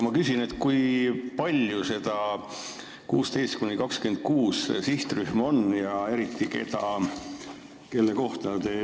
Ma küsin aga, kui suur see sihtrühm vanuses 16–26 aastat on.